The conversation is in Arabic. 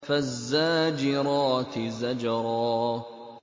فَالزَّاجِرَاتِ زَجْرًا